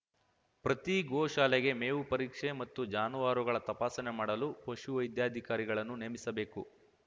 ಪ್ರತಿ ಗೋಶಾಲೆಗೆ ಮೇವು ಪರೀಕ್ಷೆ ಮತ್ತು ಜಾನುವಾರುಗಳ ತಪಾಸಣೆ ಮಾಡಲು ಪಶುವೈದ್ಯಾಧಿಕಾರಿಗಳನ್ನು ನೇಮಿಸಬೇಕು